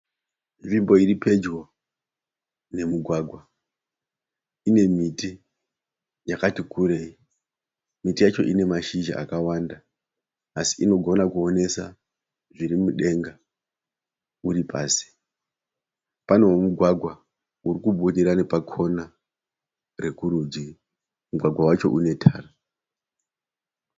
Nzvimbo iri pedyo nemugwagwa. Ine miti yakati kurei. Miti yacho ine mashizha akawanda asi inogona kuonesa zviri mudenga uri pasi. Panewo mugwagwa uri kubudira nechepakona rekurudyi. Mugwagwa wacho unetara.